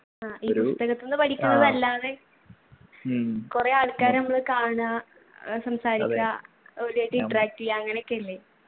ആ ഈ പുസ്തകത്ത്ന്നു പടിക്കുന്നതല്ലാതെ കൊറേ ആൾക്കാരെ അമ്മള് കാണാ ഏർ സംസാരിക്കാ ഓലുമായിട്ടു interact എയ്യാ അങ്ങനൊക്കെ ഇല്ലേ